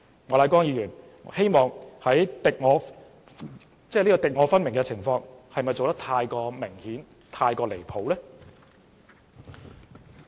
莫乃光議員這種敵我分明的態度，是否做得太明顯，又太離譜呢？